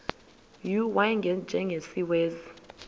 u y njengesiwezi